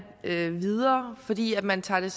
videre fordi man tager